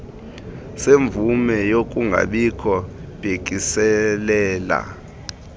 semvume yokungabikho bhekiselela